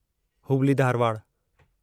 Hubli Dharwad